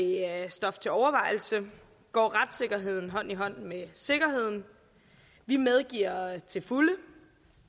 stof til overvejelse går retssikkerheden hånd i hånd med sikkerheden vi medgiver til fulde